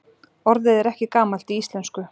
Orðið er ekki gamalt í íslensku.